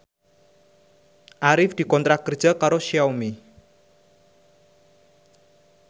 Arif dikontrak kerja karo Xiaomi